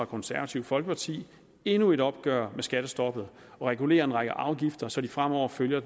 konservative folkeparti endnu et opgør med skattestoppet og regulerer en række afgifter så de fremover følger